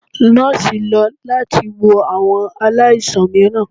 Nọọsi lọ lati wo awọn alaisan miiran